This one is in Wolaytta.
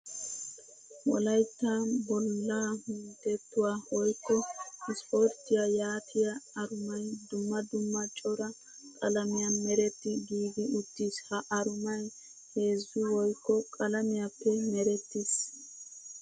Wolaytta bollaa minttettuwa woykko ispporttiya yootiya arumay dumma dumma cora qalamiyan meretti giigi uttiis. Ha arumay heezzu woykko qalamiyappe merettiis.